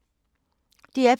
DR P3